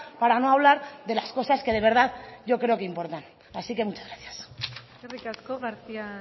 para no hablar de las cosas que de verdad yo creo que importan así que muchas gracias eskerrik asko garcía